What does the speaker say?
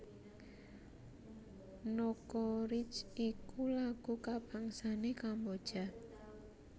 Nokoreach iku lagu kabangsané Kamboja